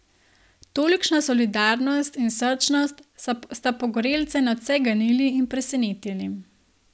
Tolikšna solidarnost in srčnost sta pogorelce nadvse ganili in presenetili.